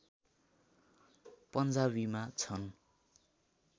पञ्जाबीमा छन्